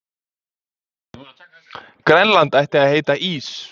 Grænland ætti að heita Ís